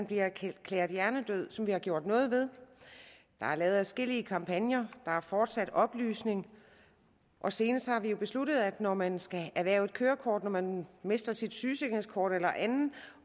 bliver erklæret hjernedøde og som vi har gjort noget ved der er lavet adskillige kampagner der er fortsat oplysning og senest har vi jo besluttet at når man skal erhverve et kørekort når man mister sit sygesikringskort eller andet